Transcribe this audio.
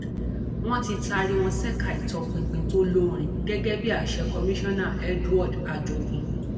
wọn ti taari wọn ṣèkà ìtọpinpin tó lórin gẹgẹ bí àṣẹ komisanna edward ajogun